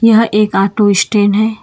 यहां एक auto stand है।